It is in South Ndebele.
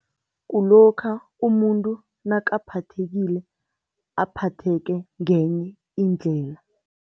Kulokha umuntu nakaphathekileko, aphatheke ngenye indlela.